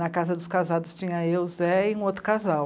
Na casa dos casados tinha eu, Zé e um outro casal.